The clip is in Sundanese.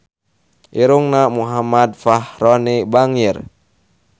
Irungna Muhammad Fachroni bangir